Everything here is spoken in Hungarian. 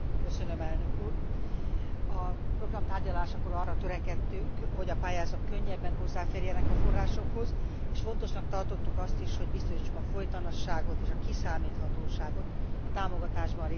A program tárgyalásakor arra törekedtünk, hogy a pályázók könnyebben hozzáférjenek a forrásokhoz, és fontosnak tartottuk azt is, hogy biztosítsuk a folytonosságot és a kiszámíthatóságot a támogatásban részesülő szervezetek számára.